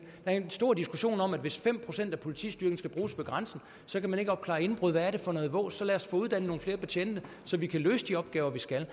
er en stor diskussion om at hvis fem procent af politistyrken skal bruges ved grænsen kan man ikke opklare indbrud hvad er det for noget vås så lad os få uddannet nogle flere betjente så vi kan løse de opgaver vi skal